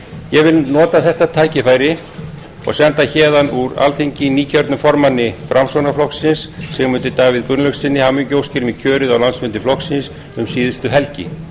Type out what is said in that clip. ég vil nota þetta tækifæri og senda héðan úr alþingi nýkjörnum formanni framsóknarflokksins sigmundi davíð gunnlaugssyni hamingjuóskir með kjörið á landsfundi flokksins um síðustu helgi